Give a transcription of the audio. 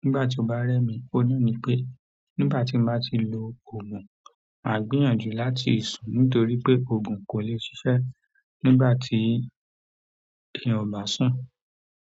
nígbà tí ó bá rẹ́ mi, òun náà ní pé nígbà tí mo bá ti lo òògùn, màá gbìyànjú láti sùn nítorí pé òògùn kò lè ṣiṣẹ́ nígbà tí èèyàn ò bá sùn.